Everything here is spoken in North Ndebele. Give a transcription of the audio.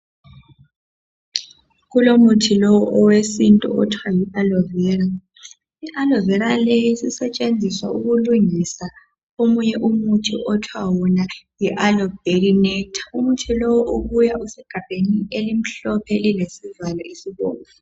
Kulomuthi lowu owesintu othwa yi'ALOE VERA".I"aloe vera "leyi sisetshenziswa ukulungisa omunye umuthi othwa wona yi"Aloe berry nectar".Umuthi lowu ubuya usegabheni elimhlophe lilesivalo esibomvu.